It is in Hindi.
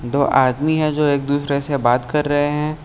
दो आदमी है जो एक दूसरे से बात कर रहे हैं।